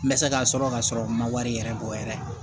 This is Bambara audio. N bɛ se ka sɔrɔ ka sɔrɔ n ma wari yɛrɛ bɔ n yɛrɛ ye